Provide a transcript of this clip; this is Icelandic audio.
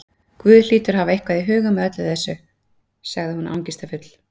Guð hlýtur að hafa eitthvað í huga með þessu öllu- sagði hún angistarfull.